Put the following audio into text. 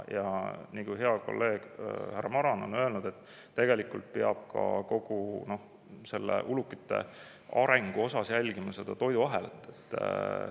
Ja nagu hea kolleeg härra Maran on öelnud: tegelikult peab kogu ulukite jälgima seda toiduahelat.